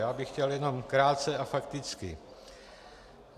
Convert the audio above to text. Já bych chtěl jenom krátce a fakticky.